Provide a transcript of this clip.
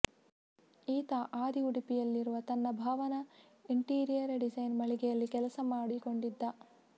ಈತ ಆದಿ ಉಡುಪಿಯಲ್ಲಿರುವ ತನ್ನ ಭಾವನ ಇಂಟೀರಿಯರ್ ಡಿಸೈನ್ ಮಳಿಗೆಯಲ್ಲಿ ಕೆಲಸ ಮಾಡಿಕೊಂಡಿದ್ದ